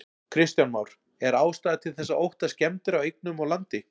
Kristján Már: Er ástæða til þess að óttast skemmdir á eignum og landi?